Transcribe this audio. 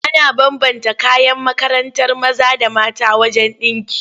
Ana bambanta kayan makarantar maza da mata wajen ɗinki.